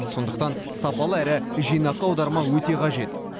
сондықтан сапалы әрі жинақы аударма өте қажет